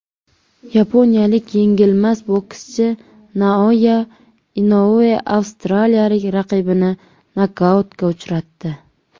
Yaponiyalik yengilmas bokschi Naoya Inoue avstraliyalik raqibini nokautga uchratdi.